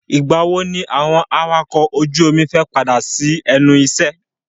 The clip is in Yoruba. Ìgbà wo ni àwọn awakọ̀ ojú omi fẹ́ padà sí ẹnu iṣẹ́?